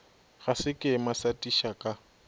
ga sekema sa tisa ka